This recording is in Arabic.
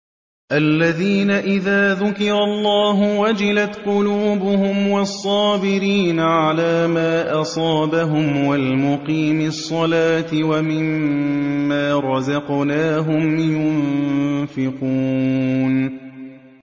الَّذِينَ إِذَا ذُكِرَ اللَّهُ وَجِلَتْ قُلُوبُهُمْ وَالصَّابِرِينَ عَلَىٰ مَا أَصَابَهُمْ وَالْمُقِيمِي الصَّلَاةِ وَمِمَّا رَزَقْنَاهُمْ يُنفِقُونَ